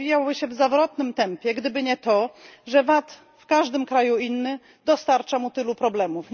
Rozwijałby się on w zawrotnym tempie, gdyby nie to, że VAT, w każdym kraju inny, dostarcza mu tylu problemów.